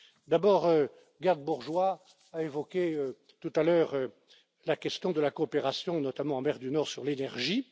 D'abord, Geert Bourgeois a évoqué tout à l'heure la question de la coopération, notamment en mer du Nord, sur l'énergie.